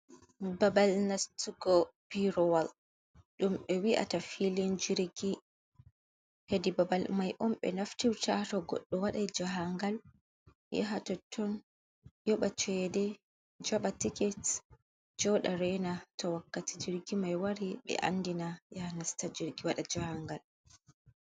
Babal nastugo pirowal ɗum ɓe wii'ata filin jirgi. Hedi babal mai on ɓe naftirta to goɗɗo wadai jahangal yaha totton yoɓa cede, jaɓa tiket, joɗa rena to wakkati jirgi mai wari ɓe andina yahaa nasta jirgi waɗa jahangal.